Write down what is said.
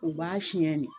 U b'a siyɛn ne